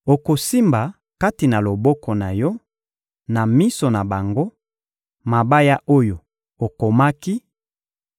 Okosimba kati na loboko na yo, na miso na bango, mabaya oyo okomaki;